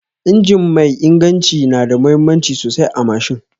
Injin mai inganci nada muhimmanci sosai a mashin